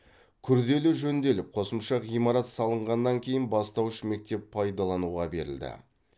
күрделі жөнделіп қосымша ғимарат салынғаннан кейін бастауыш мектеп пайдалануға берілді